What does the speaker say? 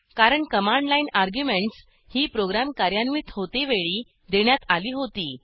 कारण command line arguments ही program कार्यान्वित होते वेळी देण्यात आली होती